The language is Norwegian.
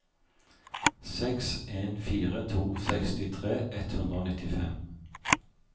seks en fire to sekstitre ett hundre og nittifem